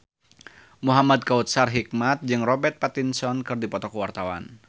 Muhamad Kautsar Hikmat jeung Robert Pattinson keur dipoto ku wartawan